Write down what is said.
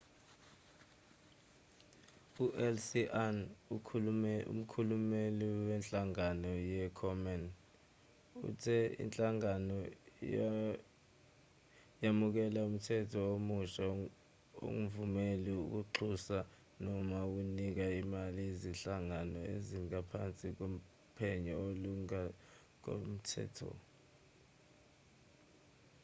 uleslie aun umkhulumeli wenhlangano ye-komen uthe inhlangano yamukela umthetho omusha ongvumeli ukuxhasa noma ukunika imali izinhlangano ezingaphansi kophenyo olungokomthetho